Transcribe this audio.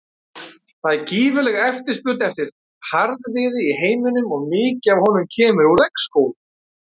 Það er gífurleg eftirspurn eftir harðviði í heiminum og mikið af honum kemur úr regnskógum.